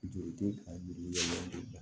Joli te ka juru bila